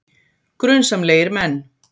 Grunsamlegir menn